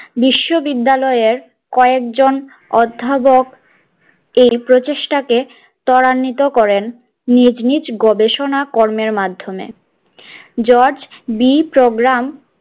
বিশ্ববিদ্যালয়ের কয়েকজন অধ্যাপক এই প্রচেষ্টাকে ত্বরান্বিত করেন নিজ নিজ গবেষণাকর্মের মাধ্যমে জর্জ বি প্রোগ্রাম